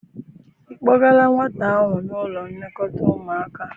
I kpọgala nwata ahụ n'ụlọ nlekọta ụmụaka?